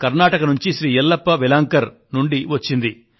కర్ణాటక నుండి శ్రీ ఎల్లప్ప వెలాంకర్ కూడా ఫోన్ చేసి ఇదే విధంగా ప్రతిస్పందించారు